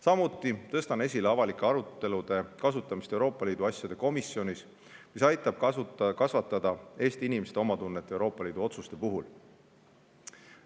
Samuti tõstan esile avalike arutelude pidamist Euroopa Liidu asjade komisjonis, mis aitab kasvatada Eesti inimeste omatunnet Euroopa Liidu otsuste puhul.